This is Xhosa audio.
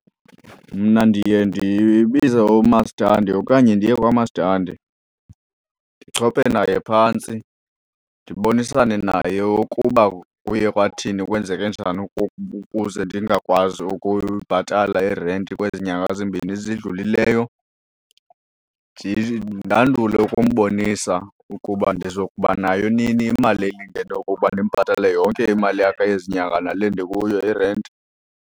Mna ndiye ndibize umastandi okanye ndiye kwamastandi, ndichophe naye phantsi ndibonisane naye ukuba kuye kwathini kwenzeke njani ukuze ndingakwazi ukubhatala irenti kwezi nyanga zimbini zidlulileyo. Ndandule ukumbonisa ukuba ndizokubanayo nini imali elingene ukuba ndimbhatale yonke imali yakhe yezinyanga nale ndikuyo irenti.